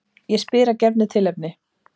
Ég spyr að gefnu tilefni.